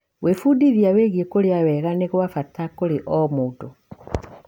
Gwĩbundithia wĩgiĩ kũrĩa wega nĩ gwa bata kũrĩ o mũndũ.